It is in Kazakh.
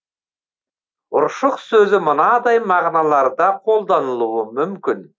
ұршық сөзі мынадай мағыналарда қолданылуы мүмкін